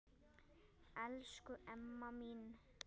Elsku Emma mín.